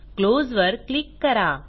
close वर click करा